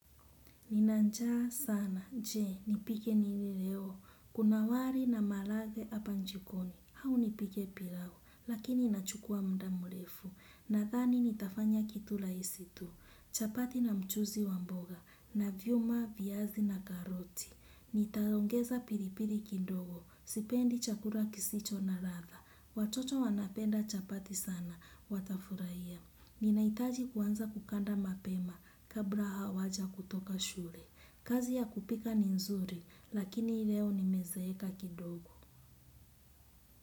Nina njaa sana, je, nipike nini leo, kuna wari na mahalage apa njikoni, hau nipike pilau, lakini inachukua mda mulefu, nathani nitafanya kitu laisi tu, chapati na mchuzi wa mboga, na vyuma, viazi na karoti, nitaongeza piripiri kindogo, sipendi chakura kisicho na ratha, watoto wanapenda chapati sana, watafurahia. Ninaitaji kuanza kukanda mapema kabla hawaja kutoka shure. Kazi ya kupika ni nzuri lakini leo nimezeeka kidogo.